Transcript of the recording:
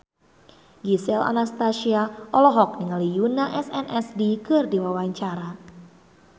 Gisel Anastasia olohok ningali Yoona SNSD keur diwawancara